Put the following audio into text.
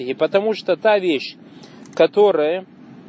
и потому что та вещь которая